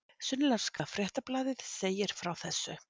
Sunnlenska fréttablaðið segir frá þessu